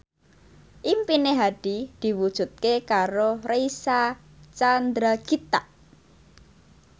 impine Hadi diwujudke karo Reysa Chandragitta